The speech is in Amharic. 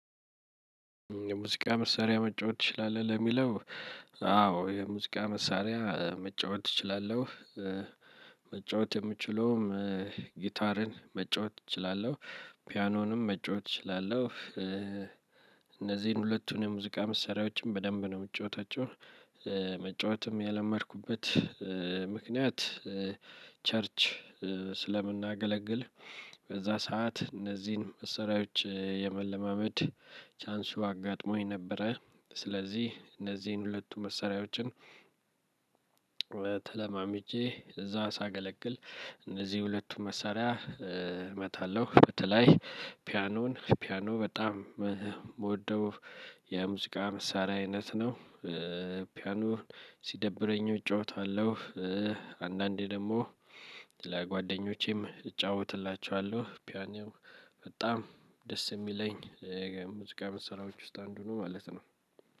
የሙዚቃ መሳሪያ መጫወት ትችላለህ ለሚለው? አዎ የሙዚቃ መሳሪያ መጫወት እችላለሁ። መጫወት የምችለውም ጊታርን መጫወት እችላለሁ። ፒያኖንም መጫወት እችላለሁ። እነዚህን ሁለቱንም የሙዚቃ መሳሪያዎችን በደንብ ነው የምትጫወታቸው። መጫወትም የለመድኩበት ምክንያት ቸርች ስለምናገለግል። በዛ ሰዓት እነዚህን መሳሪያዎች የመለማመድ ቻንሱ አጋጥሞኝ ነበረ። ስለዚህ እነዚህን ሁለቱ መሳሪያዎችን። ተለማምጄ እዛ ሳገለግል እነዚህ ሁለቱን መሳሪያ እመታለሁ። በተለይ ፒያኖን ፒያኖ በጣም የምወደው የሙዚቃ መሳሪያ አይነት ነው። ፒያኖ ሲደብረኝም እጫወታለሁ። አንድ አንዴ ደግሞ ለጓደኞቼም እጫወትላቸዋለሁ። ፒያኖ በጣም ደስ እሚለኝ የሙዚቃ መሳሪያዎች ውስጥ አንዱ ነው ማለት ነው።